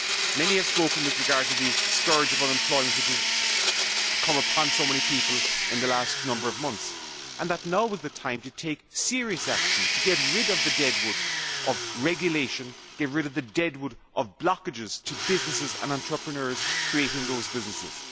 Many have spoken about the scourge of unemployment which has come upon so many people in the last number of months, and have said that now is the time to take serious action to remove the dead wood of regulation and get rid of the dead wood of blockages to businesses and to entrepreneurs creating those businesses.